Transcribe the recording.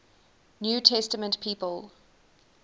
new testament people